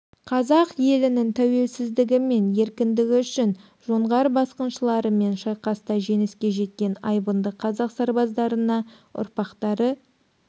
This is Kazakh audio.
қазақ елінің тәуелсіздігі мен еркіндігі үшін жоңғар басқыншыларымен шайқаста жеңіске жеткен айбынды қазақ сарбаздарына ұрпақтары